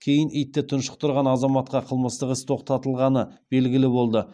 кейін итті тұншықтырған азаматқа қатысты іс тоқтатылғаны белгілі болды